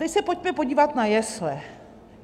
Teď se pojďme podívat na jesle.